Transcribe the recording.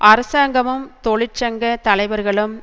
அரசாங்கமும் தொழிற்சங்க தலைவர்களும்